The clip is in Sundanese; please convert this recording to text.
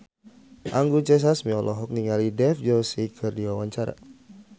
Anggun C. Sasmi olohok ningali Dev Joshi keur diwawancara